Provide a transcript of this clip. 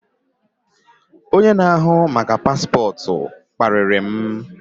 Onye na ahu maka Paspotu kpariri m